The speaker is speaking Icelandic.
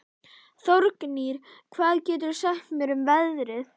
Þórgnýr, hvað geturðu sagt mér um veðrið?